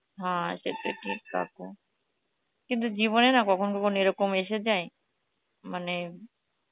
হ্যাঁ সেত ঠিক কথা, কিন্তু জীবনে না কখনো কখনো এরকম এসে যায় মানে